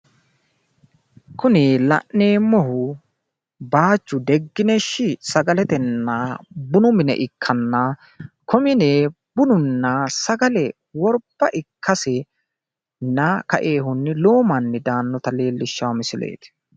Kuni la'neemmohu baayichu degineshi sagaletenna bunu mine ikkanna konne mine bununna sagale worba ikkasenni kainohunni lowo manni daannota leellishshanno misileeti.